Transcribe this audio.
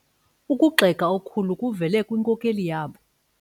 Ukugxeka okukhulu kuvele kwinkokeli yabo.